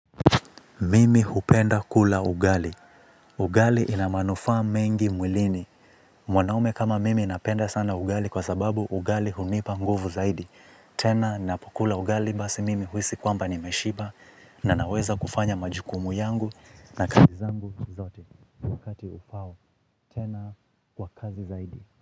Mimi hupenda kula ugali. Ugali ina manufaa mengi mwilini. Mwanaume kama mimi napenda sana ugali kwa sababu ugali hunipa nguvu zaidi. Tena napokula ugali basi mimi huhisi kwamba nimeshiba na naweza kufanya majukumu yangu na kazi zangu zote wakati ufao. Tena kwa kasi zaidi.